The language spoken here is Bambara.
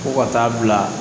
Ko ka taa bila